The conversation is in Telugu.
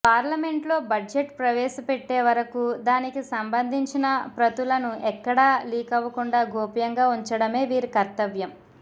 పార్లమెంట్లో బడ్జెట్ ప్రవేశపెట్టేవరకు దానికి సంబంధించిన ప్రతులను ఎక్కడా లీకవ్వుకుండా గోప్యంగా ఉంచడమే వీరి కర్తవ్యం